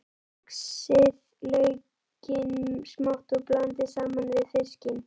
Saxið laukinn smátt og blandið saman við fiskinn.